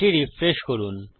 এটি রিফ্রেশ করুন